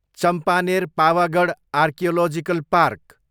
Champaner, Pavagadh archaeological park